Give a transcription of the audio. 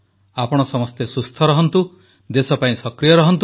ଆପଣ ସମସ୍ତେ ସୁସ୍ଥ ରହନ୍ତୁ ଦେଶ ପାଇଁ ସକ୍ରିୟ ରହନ୍ତୁ